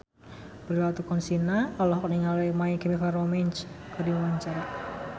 Prilly Latuconsina olohok ningali My Chemical Romance keur diwawancara